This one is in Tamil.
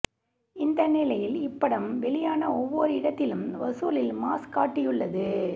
இந்த நிலையில் இப்படம் வெளியான ஒவ்வொரு இடத்திலும் வசூலில் மாஸ் காட்டியுள்ளது